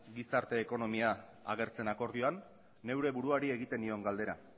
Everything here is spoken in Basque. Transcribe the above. gizarte ekonomia agertzen akordioan neure buruari egiten nion galdera